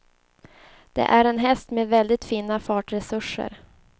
Det är en häst med väldigt fina fartresurser.